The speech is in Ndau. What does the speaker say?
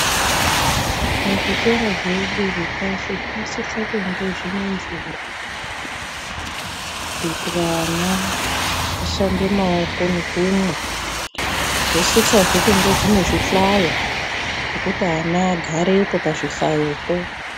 Muzvikora zvedu zvepashi zvinosise kunge zvine mvura kuitira ana ashambe maoko nekumwa. Zvosisazve kunge zvine zvihlayo zvekuti ana agarepo pazvihlayopo.